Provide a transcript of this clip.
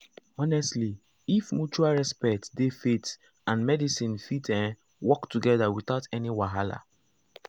honestly if mutual respect dey faith and medicine fit ehm work together without any wahala.